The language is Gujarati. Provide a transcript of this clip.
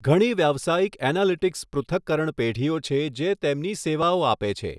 ઘણી વ્યવસાયિક એનાલિટિક્સ પૃથક્કરણ પેઢીઓ છે જે તેમની સેવાઓ આપે છે.